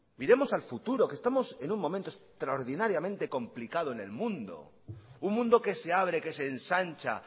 miremos al futuro que estamos en un momento extraordinariamente complicado en el mundo un mundo que se abre que se ensancha